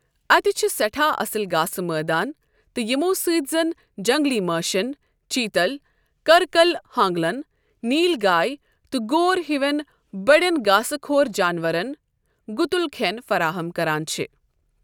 اتہِ چھِ سٮ۪ٹھاہ اصل گھاسہٕ مٲدان تہِ یمو سۭتۍ زن جنگلی مٲشن ، چیتل، ك٘ركل ہانگلن ،نیل گاے تہٕ گور ہِوین بڈین گھاسہٕ خو٘ر جانورن گُتُل كھٮ۪ن فراہم كران چھِ ۔